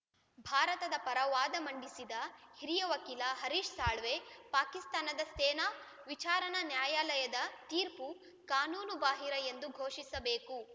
ಭಾರತದ ಪರ ವಾದ ಮಂಡಿಸಿದ ಹಿರಿಯ ವಕೀಲ ಹರೀಶ್‌ ಸಾಳ್ವೆ ಪಾಕಿಸ್ತಾನದ ಸೇನಾ ವಿಚಾರಣಾ ನ್ಯಾಯಾಲಯದ ತೀರ್ಪು ಕಾನೂನು ಬಾಹಿರ ಎಂದು ಘೋಷಿಸಬೇಕು